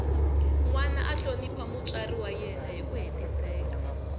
nwana a hlonipha mutswari wa yena hiku hetiseka